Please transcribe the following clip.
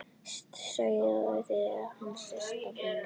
Sáuð þið hana systur mína.